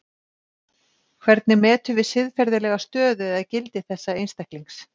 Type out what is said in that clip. Hvernig metum við siðferðilega stöðu eða gildi þessa einstaklings?